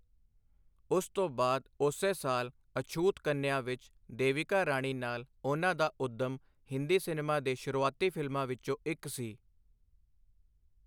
ਉਸ ਤੋਂ ਬਾਅਦ ਉਸੇ ਸਾਲ ਅਛੂਤ ਕੰਨਿਆ ਵਿੱਚ ਦੇਵਿਕਾ ਰਾਣੀ ਨਾਲ ਉਨ੍ਹਾਂ ਦਾ ਉੱਦਮ ਹਿੰਦੀ ਸਿਨੇਮਾ ਦੇ ਸ਼ੁਰੂਆਤੀ ਫਿਲਮਾਂ ਵਿੱਚੋਂ ਇੱਕ ਸੀ।